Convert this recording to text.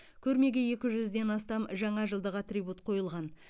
көрмеге екі жүзден астам жаңажылдық атрибут қойылған